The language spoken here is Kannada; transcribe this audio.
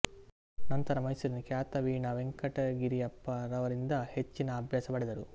ನಂತರ ಮೈಸೂರಿನ ಖ್ಯಾತ ವೀಣಾ ವೆಂಕಟಗಿರಿಯಪ್ಪರವರಿಂದ ಹೆಚ್ಚಿನ ಅಭ್ಯಾಸ ಪಡೆದರು